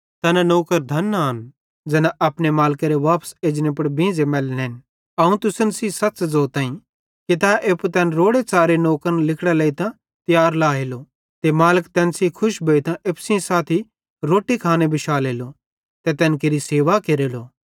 तैना नौकर धन आन ज़ैना अपने मालिकेरे वापस एजने पुड़ बींझ़े मैलतन अवं तुसन सेइं सच़ ज़ोताईं कि तै एप्पू तैन रोड़ेच़ारे नौकरन लिगड़ां लेइतां तियार लाएलो ते मालिक तैन सेइं खुश भोइतां एप्पू सेइं साथी रोट्टी खाने बिशालेलो ते तैन केरि सेवा केरेलो